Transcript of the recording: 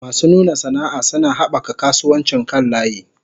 Masu nuna sana'a suna haɓaka kasuwancin kan layi.